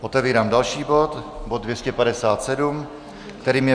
Otevírám další bod, bod 257, kterým je